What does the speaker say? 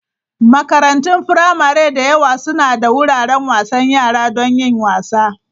Makarantun firamare da yawa suna da wuraren wasan yara don yin wasa.